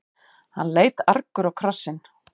Hann leit argur á krossinn.